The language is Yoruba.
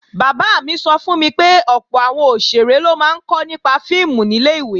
Bàbá mi sọ fún mi pé ọ̀pọ̀ àwọn òṣèré ló máa ń kọ́ nípa fíìmù nílẹ̀ ìwé